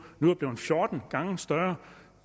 nu er blevet fjorten gange større